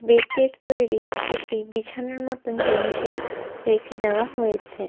বেতের তৈরী কিছু একটি বিছানার মতো জিনিসে রেখে দেওয়া হয়েছে।